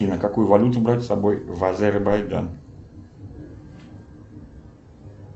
какую валюту брать с собой в азербайджан